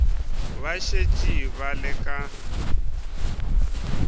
ba šetše ba le ka